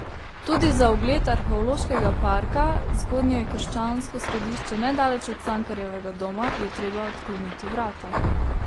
Tudi za ogled Arheološkega parka Zgodnjekrščansko središče nedaleč od Cankarjevega doma je treba odkleniti vrata.